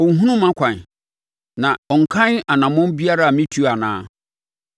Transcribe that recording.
Ɔnhunu mʼakwan na ɔnkan anammɔn biara a metuo anaa?